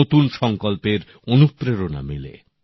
নতুন সংকল্পের অনুপ্রেরণা পায়